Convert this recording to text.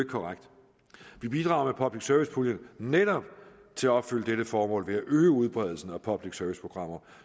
korrekt vi bidrager med public service puljen netop til at opfylde dette formål ved at øge udbredelsen af public service programmer